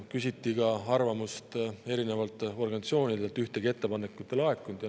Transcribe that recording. Küsiti ka arvamust erinevatelt organisatsioonidelt, neilt samuti ühtegi ettepanekut ei laekunud.